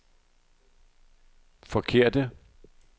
forkerte